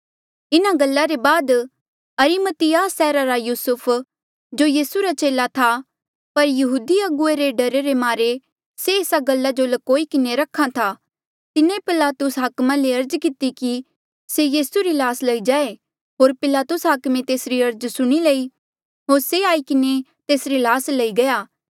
इन्हा गल्ला ले बाद अरिमतियाह सैहरा रा युसुफ जो यीसू रा चेला था पर यहूदी अगुवे रे डरा रे मारे से एस गल्ला जो ल्कोई किन्हें रख्हा था तिन्हें पिलातुस हाकमे ले अर्ज किती कि से यीसू री ल्हास लई जाऊँ होर पिलातुस हाकमे तेसरी अर्ज सुणी लई होर से आई किन्हें तेसरी ल्हास लई गया